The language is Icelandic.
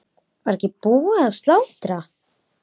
Var ekki búið að slátra?